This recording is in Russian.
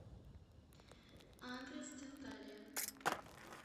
адрес денталия